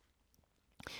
DR K